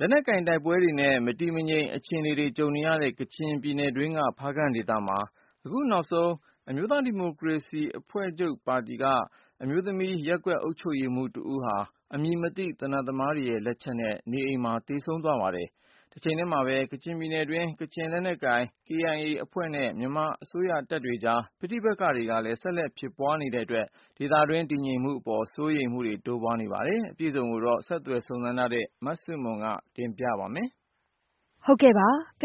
လက်နက်ကိုင် တိုက်ပွဲတွေနဲ့ မတည်မငြိမ် အခြေအနေတွေ ကြုံနေရတဲ့ ကချင်ပြည်နယ်တွင်းက ဖားကန့်ဒေသမှာ အခုနောက်ဆုံး အမျိုးသားဒီမိုကရေစီအဖွဲ့ချုပ် ပါတီက အမျိုးသမီး ရပ်ကွက်အုပ်ချုပ်ရေးမှူးတဦးဟာ အမည်မသိ သေနတ်သမားတွေ လက်ချက်နဲ့ နေအိမ်မှာ သေဆုံးသွားပါတယ်။ တချိန်တည်းမှာပဲ ကချင်ပြည်နယ်တွင်းမှာ ကချင်လက်နက်ကိုင်အဖွဲ့ KIA နဲ့ မြန်မာအစိုးရတပ်တွေကြား ပဋိပက္ခတွေလည်း ဆက်လက် ဖြစ်ပွားနေတဲ့အတွက် ဒေသတွင်း တည်ငြိမ်မှုအပေါ် စိုးရိမ်မှုတွေလည်း တိုးပွားလာနေပါတယ်။ အပြည့်အစုံကိုတော့ ဆက်သွယ်စုံစမ်းထားတဲ့ မဆုမွန် ကတင်ပြပေးထားပါတယ်။